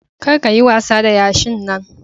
Kar ka yi wasa da yashin Nan.